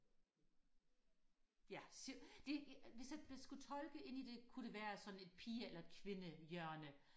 ja så det hvis at hvis jeg skulle tolke ind i det kunne det være sådan et pige eller kvinde hjørne